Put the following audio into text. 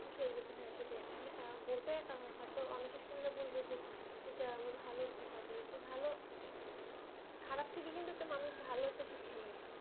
হ্যাঁ সেটাই আসলে বলতে অনেকে শুনলাম বলবে যে এটা ভালো খারাপ থেকে মানুষ একটা ভালো শিক্ষা নেই